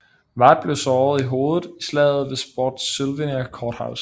Ward blev såret i hovedet i slaget ved Spotsylvania Court House